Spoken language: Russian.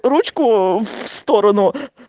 ручку в сторону